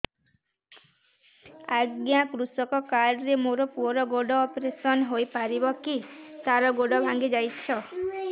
ଅଜ୍ଞା କୃଷକ କାର୍ଡ ରେ ମୋର ପୁଅର ଗୋଡ ଅପେରସନ ହୋଇପାରିବ କି ତାର ଗୋଡ ଭାଙ୍ଗି ଯାଇଛ